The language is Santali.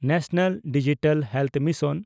national digital health mission